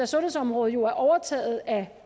sundhedsområdet jo er overtaget af